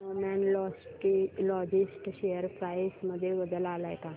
Snowman logistics share price मध्ये बदल आलाय का